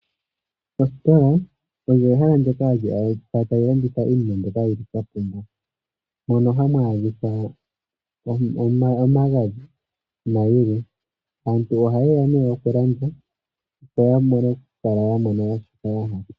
Ositola olyo ehala ndoka hali adhika tali landitha iinima mono hamu adhika omagadhi omagadhi nayilwe aantu ohayeya nee yalande opo ya vule shoka ya hala.